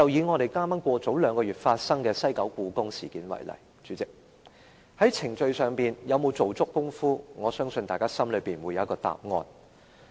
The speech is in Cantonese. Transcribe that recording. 代理主席，以兩個月前發生的西九故宮館事件為例，在程序上，政府有否做足工夫，我相信大家心裏有數。